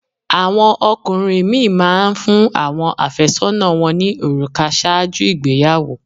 Àwọn ọkùnrin mí ì má a n fún áwọn àfẹ́sọ́nà wọn ní òrùkà sáàjú ìgbeyàwó